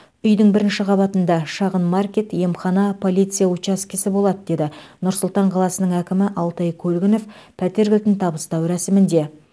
үйдің бірінші қабатында шағын маркет емхана полиция учаскесі болады деді нұр сұлтан қаласының әкімі алтай көлгінов пәтер кілтін табыстау рәсімінде